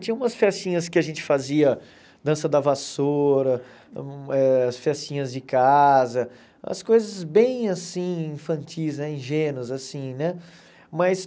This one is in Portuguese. Tinha umas festinhas que a gente fazia, dança da vassoura, eh as festinhas de casa, as coisas bem, assim, infantis né, ingênuas, assim, né? Mas